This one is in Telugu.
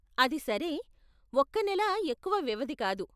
అది సరే, ఒక్క నెల ఎక్కువ వ్యవధి కాదు.